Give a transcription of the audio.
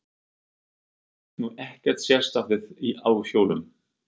Ég hef nú ekkert sérstakt vit á hjólum.